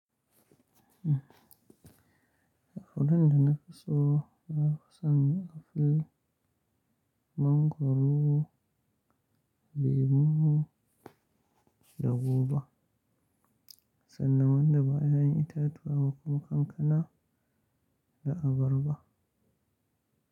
Furen da na fi so, na fi son a fil mangwaro, lemu da goba sannan wanda ba ƴaƴan itatuwa ba kuma kankana da abarba.